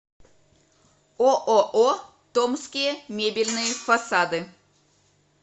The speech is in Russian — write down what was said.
ооо томские мебельные фасады